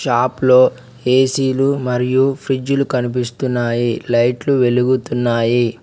Shop లో ఏసీలు మరియు ఫ్రిజ్లు కనిపిస్తున్నాయి లైట్లు వెలుగుతున్నాయి.